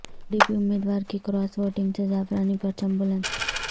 پی D P امیدوار کی cross voting سے زعفرانی پرچم بلند